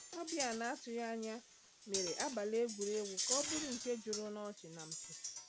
Ọbịa na-atụghị anya mere abalị egwuregwu ka ọ bụrụ nke juru n’ọchị na mpi.